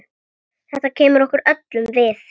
Þetta kemur okkur öllum við.